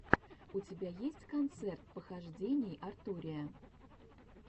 у тебя есть концерт похождений артурия